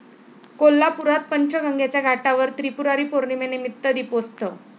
कोल्हापुरात पंचगंगेच्या घाटावर त्रिपुरारी पौर्णिमेनिमित्त दीपोत्सव